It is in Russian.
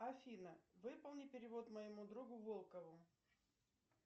афина выполни перевод моему другу волкову